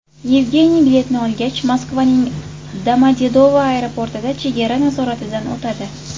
Yevgeniy biletni olgach, Moskvaning Domodedovo aeroportida chegara nazoratidan o‘tadi.